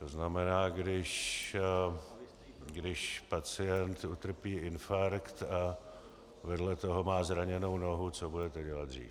To znamená, když pacient utrpí infarkt a vedle toho má zraněnou nohu, co budete dělat dřív?